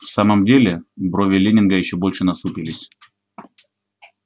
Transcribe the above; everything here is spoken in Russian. в самом деле брови лэннинга ещё больше насупились